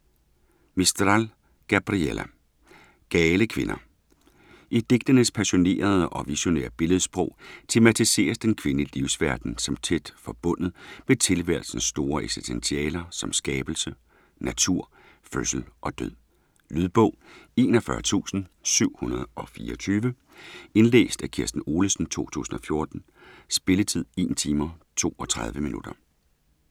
Mistral, Gabriela: Gale kvinder I digtenes passionerede og visionære billedsprog tematiseres den kvindelige livsverden som tæt forbundet med tilværelsens store eksistentialer som skabelse, natur, fødsel og død. Lydbog 41724 Indlæst af Kirsten Olesen, 2014. Spilletid: 1 timer, 32 minutter.